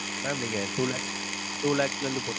Mam நீங்க two lakhs two lakhs ல இருந்து போட்டு